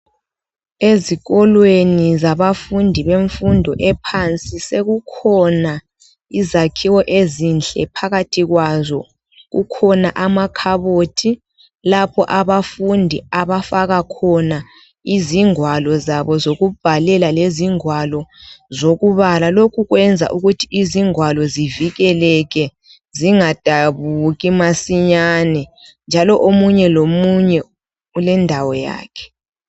Izifundo zabafundi bezingeni eliphansi sekukhona ezakhiwo ezinhle kukhona amakhabothi lapha abafundi abafaka khona izingwalo zabo zokubhalela lezingwalo zokubala lokhu kwenza ukuthi ingwalo zivikeleke zingasabuki masinyane njalo omunye lomunye ulendawo yakhe